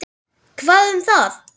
Hvað um það!